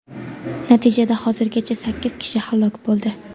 Natijada hozirgacha sakkiz kishi halok bo‘ldi.